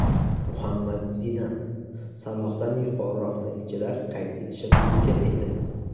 Muhammad Zidan: Salohdan yuqoriroq natijalar qayd etishim mumkin edi.